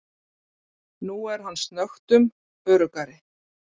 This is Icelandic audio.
Nú er hann snöggtum öruggari.